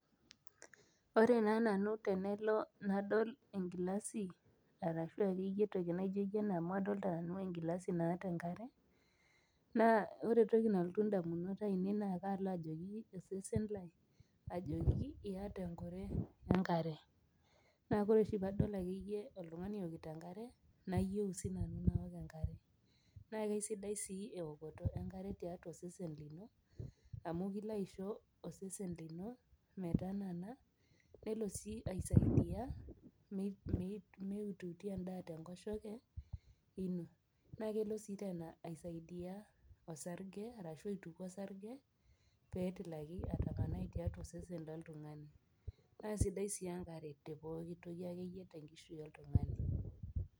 Ore naa nanu tenelo nadol enkilasi arashua akeyie entoki naijo yie ena amu adolta nanu enkilasi naata enkare naa ore toki nalotu indamunot ainei naa kaalo ajoki osesen lai ajoki iyata enkure enkare naa kore oshi paadol akeyie oltung'ani eokito enkare nayieu sinanu nawok enkare naa keisidai sii ewokoto enkare tiatua osesen lino amu kilo aisho osesen lino metanana nelo sii aisaidia mei meiututi endaa tenkoshoke ino naa kelo sii tena aisaidia osarge arashu aituku osarge petilaki atapanai tiatua osesen loltung'ani naa sidai sii enkare te pokitoki akeyie tenkishui oltung'ani.